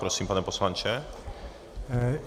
Prosím, pane poslanče.